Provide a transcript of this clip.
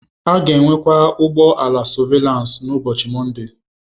A ga-enwekwu ụgbọ ala sọvelansị n'ụbọchị Mọnde.